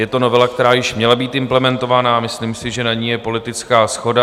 Je to novela, která již měla být implementovaná, a myslím si, že je na ní politická shoda.